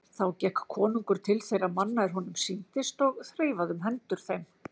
Þá gekk konungur til þeirra manna er honum sýndist og þreifaði um hendur þeim.